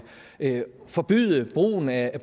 at forbyde brugen af